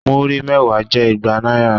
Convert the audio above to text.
Múrí mẹ́wàá jẹ́ igba náírà.